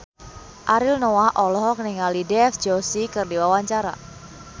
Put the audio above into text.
Ariel Noah olohok ningali Dev Joshi keur diwawancara